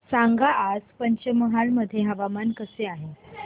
सांगा आज पंचमहाल मध्ये हवामान कसे आहे